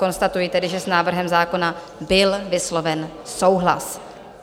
Konstatuji tedy, že s návrhem zákona byl vysloven souhlas.